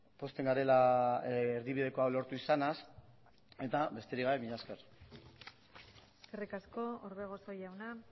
pozten garela erdibideko hau lortu izanaz eta besterik gabe mila esker eskerrik asko orbegozo jauna